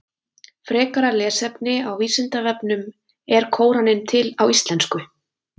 Frekara lesefni á Vísindavefnum Er Kóraninn til á íslensku?